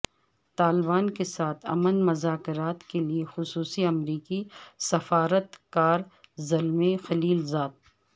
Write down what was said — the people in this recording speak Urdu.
طالبان کے ساتھ امن مذاکرات کے لیے خصوصی امریکی سفارت کار زلمے خلیل زاد